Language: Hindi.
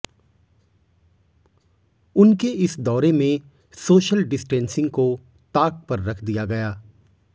उनके इस दौरे में सोशल डिस्टेंसिंग को ताक पर रख दिया गया